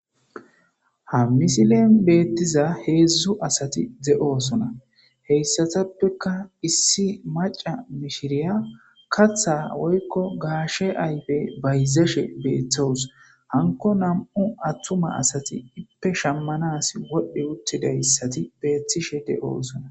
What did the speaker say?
ha misilen beettiza heedzdzu asati de7oosona heyssatappeka issi maca mishiriya katha woykko gaashe ayfe bayzeshe beeththawus hanko nam7u attuma asati ippe shammanas wodhdhi uttidayssati beettishe de7oosona.